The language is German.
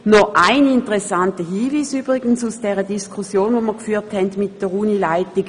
Ich möchte noch einen interessanten Hinweis weitergeben, der sich aus der Diskussion mit der Unileitung ergeben hat.